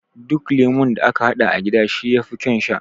Duk lemo da aka haɗa a gida shi yafi ƙaun sha